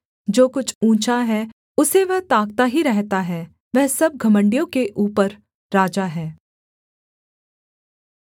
जो कुछ ऊँचा है उसे वह ताकता ही रहता है वह सब घमण्डियों के ऊपर राजा है